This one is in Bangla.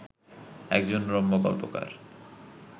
একজন রম্য গল্পকার